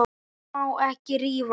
Ég má ekki rífast.